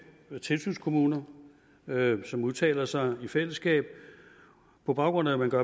tilsynskommuner som udtaler sig i fællesskab på baggrund af at man